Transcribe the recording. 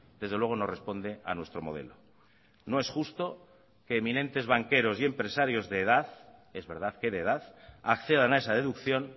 desde luego no responde a nuestro modelo no es justo que eminentes banqueros y empresarios de edad es verdad que de edad accedan a esa deducción